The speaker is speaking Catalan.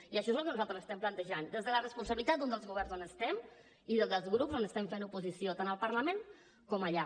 i això és el que nosaltres estem plantejant des de la responsabilitat d’un dels governs on estem i des dels grups on estem fent oposició tant al parlament com allà